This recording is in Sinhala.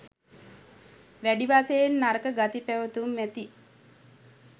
වැඩි වශයෙන් නරක ගති පැවැතුම් ඇති